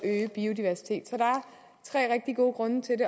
tre rigtig gode grunde til